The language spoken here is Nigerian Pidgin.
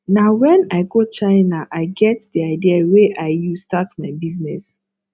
na wen i go china i get di idea wey i use start my business